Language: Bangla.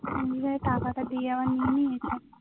নিজেই টাকাটা দিয়ে আবার নিয়ে নিয়েছে